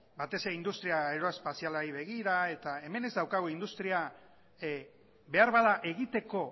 batez ere industria aeroespazialari begira eta hemen ez daukagu industria behar bada egiteko